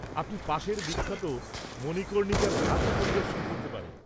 আপনি পাশের বিখ্যাত মণিকর্ণিকার ঘাটও পরিদর্শন করতে পারেন।